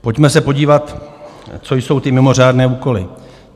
Pojďme se podívat, co jsou ty mimořádné úkoly.